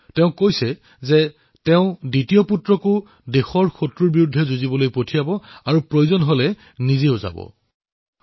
তেওঁ কৈছে যে তেওঁ নিজৰ দ্বিতীয়জন সন্তানকো শত্ৰুৰ বিৰুদ্ধে যুঁজিবলৈ পঠাব আৰু প্ৰয়োজন হলে নিজেও যুদ্ধলৈ যাব